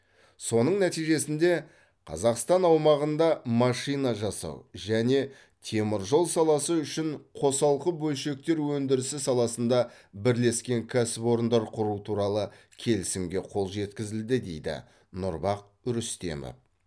соның нәтижесінде қазақстан аумағында машина жасау және темір жол саласы үшін қосалқы бөлшектер өндірісі саласында бірлескен кәсіпорындар құру туралы келісімге қол жеткізілді дейді нұрбах рүстемов